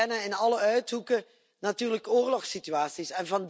We kennen in alle uithoeken natuurlijk oorlogssituaties.